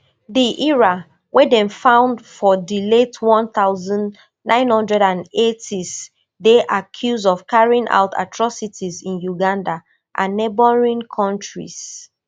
di lra wey dem found for di late one thousand, nine hundred and eightys dey accused of carrying out atrocities in uganda and neighbouring countries